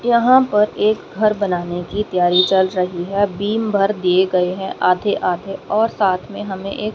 यहां पर एक घर बनाने की तैयारी चल रही है बीम भर दिए गए हैं आधे आधे और साथ में हमें एक--